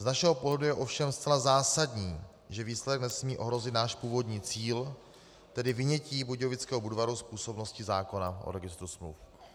Z našeho pohledu je ovšem zcela zásadní, že výsledek nesmí ohrozit náš původní cíl, tedy vynětí Budějovického Budvaru z působnosti zákona o registru smluv.